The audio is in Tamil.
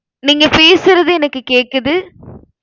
நீங்க பேசுறது எனக்கு கேக்குது.